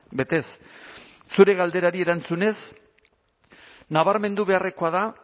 betez zure galderari erantzunez nabarmendu beharrekoa da